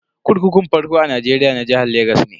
Kurkukun farko a Nigeria na jihar Legas ne.